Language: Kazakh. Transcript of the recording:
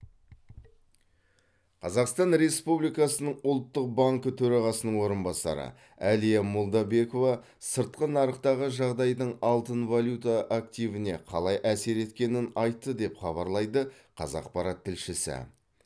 қазақстан республикасының ұлттық банкі төрағасының орынбасары әлия молдабекова сыртқы нарықтағы жағдайдың алтын валюта активіне қалай әсер еткенін айтты деп хабарлайды қазақпарат тілшісі